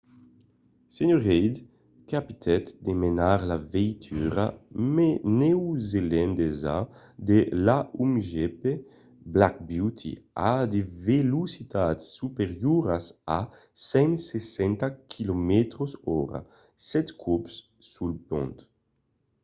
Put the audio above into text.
sr. reid capitèt de menar la veitura neozelandesa de l'a1gp black beauty a de velocitats superioras a 160km/h sèt còps sul pont